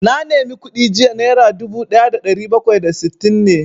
Na nema kuɗi jiya, naira dubu ɗaya da ɗari bakwai da sittin ne